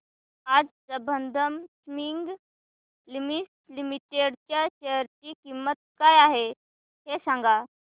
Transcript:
आज Sambandam spinning mills limited च्या share ची किंमत काय आहे हे सांगा